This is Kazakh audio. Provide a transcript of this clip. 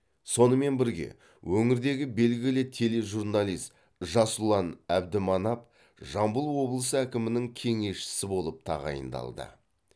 сонымен бірге өңірдегі белгілі тележурналист жасұлан әбдіманап жамбыл облысы әкімінің кеңесшісі болып тағайындалды